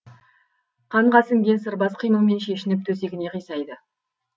қанға сіңген сырбаз қимылмен шешініп төсегіне қисайды